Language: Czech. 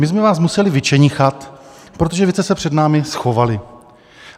My jsme vás museli vyčenichat, protože vy jste se před námi schovali.